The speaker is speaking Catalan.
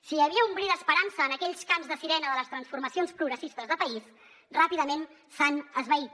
si hi havia un bri d’esperança en aquells cants de sirena de les transformacions progressistes de país ràpidament s’han esvaït